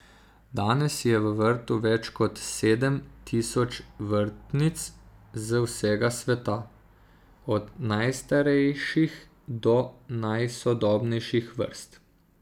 Danes je v vrtu več kot sedem tisoč vrtnic z vsega sveta, od najstarejših do najsodobnejših vrst.